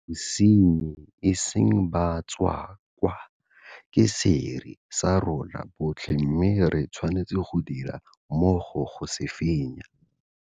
Bosenyi, e seng batswakwa, ke sera sa rona botlhe mme re tshwanetse go dira mmogo go se fenya.